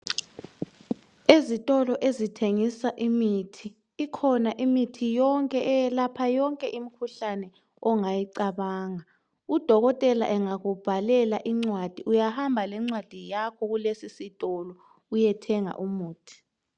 Ezitolo ezithengisa imithi , ikhona imithi yonke eyelapha yonke imkhuhlane ongayicabanga , udokotela engakubhalela incwadi uyahamba lencwadi yakho kulesisito uyethenga umuthi